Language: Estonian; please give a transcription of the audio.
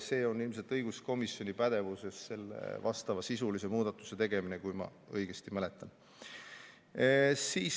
Selle vastavasisulise muudatuse tegemine on ilmselt õiguskomisjoni pädevuses, kui ma õigesti mäletan.